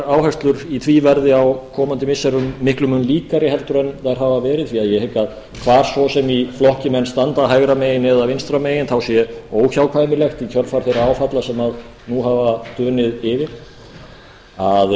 áherslur í því verði á komandi missirum miklum mun líkari heldur en þær hafa verið því ég hygg að hvor svo sem í flokki menn standa hægra megin eða vinstra megin þá sé óhjákvæmilegt í kjölfar þeirra áfalla sem nú hafa dunið yfir að